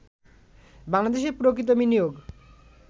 বাংলাদেশে প্রকৃত বিনিয়োগ